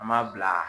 An b'a bila